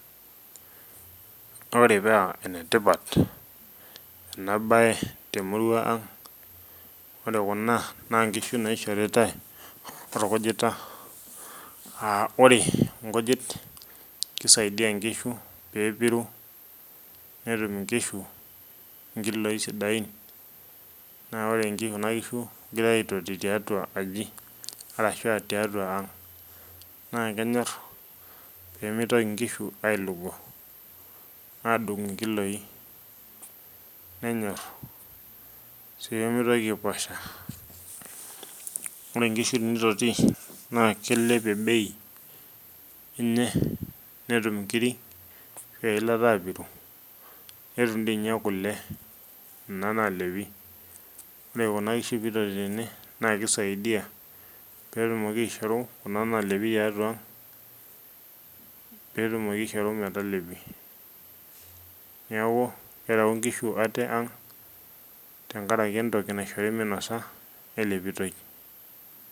ore paa ene tipat ena bae temurua ang, ore kuna naa nkishu naishoritae orkujita.aa ore nkujit kisaidia nkishu, pee epiru netum nkishu nkiloi sidain. naa ore sii kuna kishu kegirae aitoti tiatua aji. arashu tiatua ang, naa kenyor pee meitoki nkishu ailung'o aadung' inkiloi. nenyor sii pee meitoki aiposha. ore nkishu tenitoti naa kilepie bei, eney netum nkiri eilata aapiru, netum ndii ninye kule nena naalepi. ore kuna kishu pee itoti tene naa kisaidia pee etumoki aishoru kuna naalepi tiatua ang pe etumoki aishoru metalepi. neeku kereu nkishu ate ang tenkaraki entoki naishori minosa elepitoi.